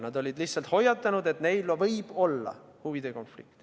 Nad olid lihtsalt hoiatanud, et neil on võib-olla huvide konflikt.